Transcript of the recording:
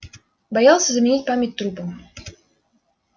боялся заменить память трупом